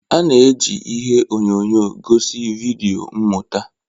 A na-eji ihe onyonyo gosi vidio mmụta.